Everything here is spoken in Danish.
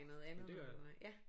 Men det gør jeg